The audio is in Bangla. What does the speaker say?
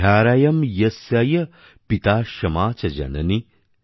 ধ্যারয়ম্ ইয়স্যয় পিতা শমা চ জননী